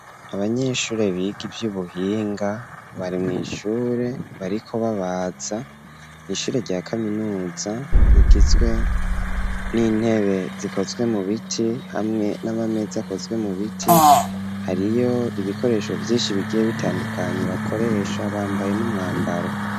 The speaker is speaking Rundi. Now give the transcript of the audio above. Abanyeshure, biga ivy'ubuhinga, bari mw'ishure, bariko babaza, ishure rya kaminuza, rigizwe n'intebe, zikozwe mu biti, hamwe n'amameza, akozwe mu biti; hariyo ibikoresho, vyinshi, bigiye bitandukanye, bakoresha; bambaye n'umwambaro.